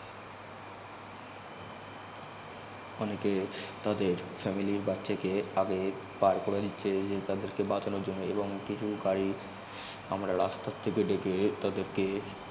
অনেকে তাদের family র বাচ্চাকে আগে বের করে দিছহে তাদের কে বাচানর জন্য এবং কিছু গারি রাস্তার থেকে ডেকে তাদেরকে